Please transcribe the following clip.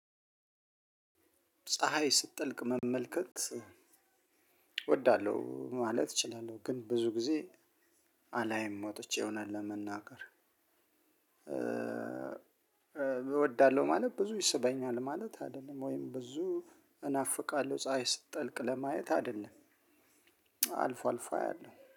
ፀሀይ ስትጠልቅ መመልከት እወዳለሁ ማለት እችላለሁ ግን ብዙ ጊዜ አላይም ወጥቼ እውነት ለመናገር እወዳለሁ ማለት ብዙ ይስበኛል ማለት አይደለም ወይም ብዙ እናፍቃለሁ ፀሀይ ስትጠልቅ ለማየት አይደለም አልፎ አልፎ አያለሁ።